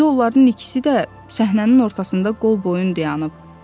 İndi onların ikisi də səhnənin ortasında qolboyun dayanıb.